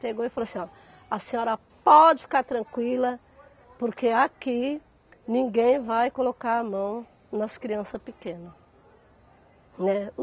Pegou e falou assim, ó, a senhora pode ficar tranquila porque aqui ninguém vai colocar a mão nas crianças pequenas, né.